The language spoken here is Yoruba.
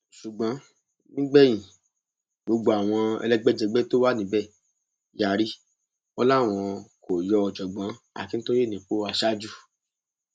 ṣùgbọn nígbẹyìn gbogbo àwọn elégbèjẹgbẹ tó wà níbẹ yarí wọn làwọn kò yọ ọjọgbọn akintóyè nípò aṣáájú